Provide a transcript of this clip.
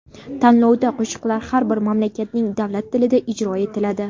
Tanlovda qo‘shiqlar har bir mamlakatning davlat tilida ijro etiladi.